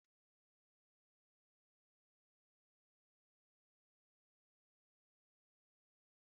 Emeke a ga m ama gi ula o, emetula fufu m aka!